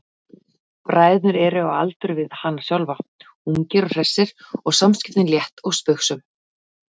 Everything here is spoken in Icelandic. Bræðurnir eru á aldur við hana sjálfa, ungir og hressir og samskiptin létt og spaugsöm.